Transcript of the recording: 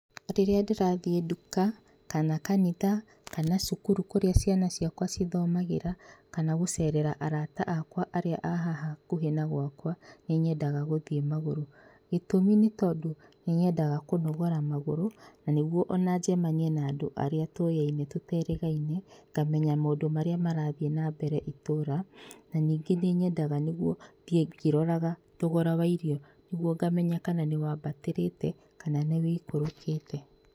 Rĩrĩa ndĩrathiĩ nduka, kana kanitha, kana cukuru kũrĩa ciana ciakwa cithomagĩra, kana gũcerera arata akwa arĩa a haha hakuhĩ na gwakwa, nĩnyendaga gũthiĩ magũrũ. Gĩtũmi nĩ tondũ, nĩnyendaga kũnogora magũrũ, na nĩguo ona njemanie na andũ arĩa tũyaine tũterĩgaine, ngamenya maũndũ marĩa marathiĩ nambere itũra, na ningĩ nĩ nyendaga nĩguo thiĩ ngĩroraga thogora wa irio nĩguo ngamenya kana nĩ wambatĩrĩte na nĩwũikũrũkĩte.